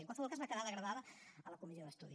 en qualsevol cas va quedar degradada a la comissió d’estudi